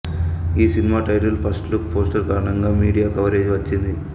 ఈ cinema title first look poster కారణంగా media coverage వచ్చింది